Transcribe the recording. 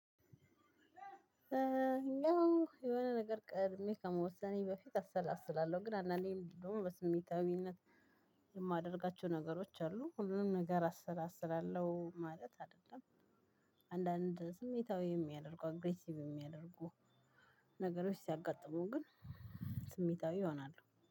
ያው የሆነ ነገር ቅድሜ ከመወሰኔ በፊት አሰላስላለሁ። ግን አንዳንዴም ቢሆን በስሜታዊነት የማደርጋቸው ነገሮች አሉ። ሁሉንም ነገር አሰራስራለሁ ማለት አይደለም አንዳንድ ስሜታዊ የሚያደርጉ አግሬሲቭ የሚያደርጉ ነገሮች ሲያጋጥሙ ግን ስሜታዊ እሆናለሁ።